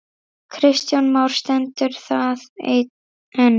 Kristján Már: Stendur það enn?